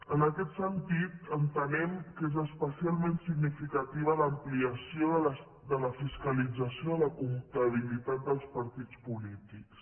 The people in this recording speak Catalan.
en aquest sentit entenem que és especialment significativa l’ampliació de la fiscalització de la comptabilitat dels partits polítics